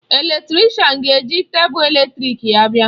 Eletrịshan ga-eji teepu eletrịk ya abịa.